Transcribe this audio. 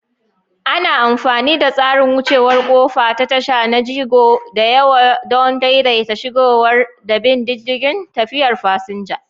Ana amfani da tsarin wucewar ƙofa ta tasha na jigo da yawa don daidaita shigarwa da bin diddigin tafiyar fasinja.